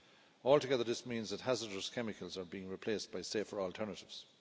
Altogether, this means that hazardous chemicals are being replaced by safer alternatives.